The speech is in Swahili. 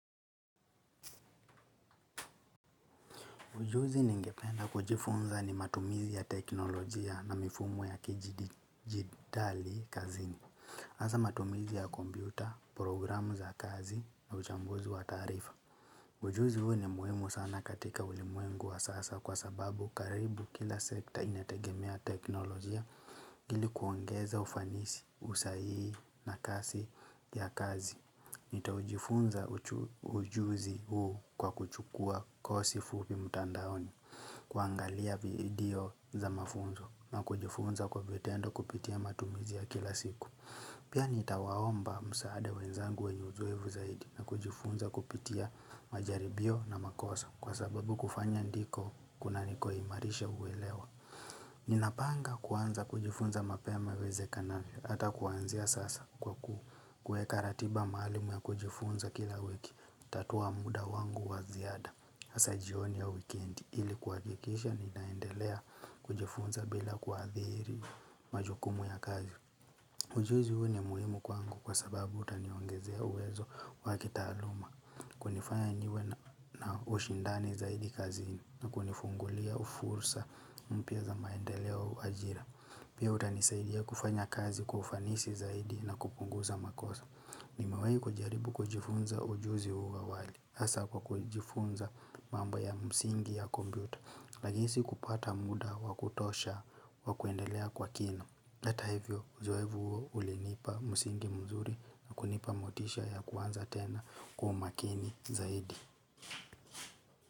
Ujuzi ni ngependa kujifunza ni matumizi ya teknolojia na mifumo ya kidijitali kazini. Hasa matumizi ya kompyuta, programu za kazi na uchambuzi wa taarifa. Ujuzi huu ni muhimu sana katika ulimwengu wa sasa kwa sababu karibu kila sekta inetegemea teknolojia ili kuongeza ufanisi, usahihi na kasi ya kazi. Nitaujifunza ujuzi huu kwa kuchukua kozi fupi mtandaoni. Kuangalia video za mafunzo na kujifunza kwa vitendo kupitia matumizi ya kila siku. Pia nitawaomba msaada wenzangu wenyu uzoefu zaidi na kujifunza kupitia majaribio na makosa. Kwa sababu kufanya ndiko kuna niko imarisha uelewa. Ninapanga kuanza kujifunza mapema iwezekanavyo. Hata kuanzia sasa kwa kuweka ratiba maalumu ya kujifunza kila wiki, tatua muda wangu wa ziada. Hasa jioni au wikendi ili kuhakikisha ninaendelea kujifunza bila kuathiri majukumu ya kazi. Ujuzi huu ni muhimu kwangu kwa sababu utaniongezea uwezo wa kitaaluma. Kunifanya niwe na ushindani zaidi kazini na kunifungulia ufursa mpya za maendeleo au ajira. Pia utanisaidia kufanya kazi kwa ufanisi zaidi na kupunguza makosa. Nimewahi kujaribu kujifunza ujuzi huu awali hasa kwa kujifunza mambao ya msingi ya kompyuta. Lakini sikupata muda wa kutosha wa kuendelea kwa kina hata hivyo, uzoefu huo ulinipa msingi mzuri na kunipa motisha ya kuanza tena kwa umakini zaidi.